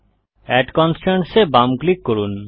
add constraints এ বাম click করুন